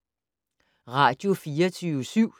Radio24syv